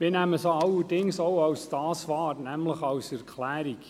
Wir nehmen sie jedoch auch so wahr: als Erklärung.